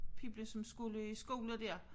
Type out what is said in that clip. Pibla som skulle i skole der